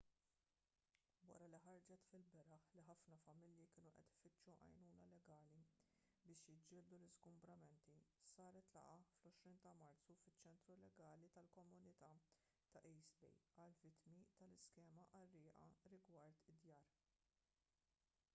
wara li ħarġet fil-beraħ li ħafna familji kienu qed ifittxu għajnuna legali biex jiġġieldu l-iżgumbramenti saret laqgħa fl-20 ta' marzu fiċ-ċentru legali tal-komunità ta' east bay għall-vittmi tal-iskema qarrieqa rigward id-djar